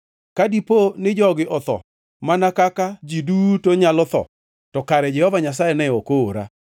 Ka dipo ni jogi otho mana kaka ji duto nyalo tho, to kare Jehova Nyasaye ne ok oora.